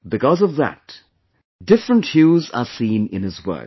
Because of that, different hues are seen in his work